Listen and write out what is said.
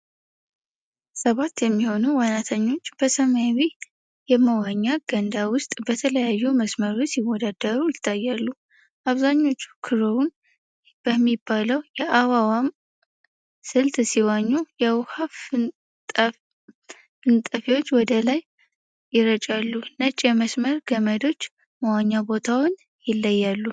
ሰባት የሚሆኑ ዋናተኞች በሰማያዊ የመዋኛ ገንዳ ውስጥ በተለያዩ መስመሮች ሲወዳደሩ ይታያሉ። አብዛኞቹ ክሮውል በሚባለው የአዋዋም ስልት ሲዋኙ የውሃ ፍንጣቂዎች ወደ ላይ ይረጫሉ። ነጭ የመስመር ገመዶች መዋኛ ቦታውን ይለያሉ.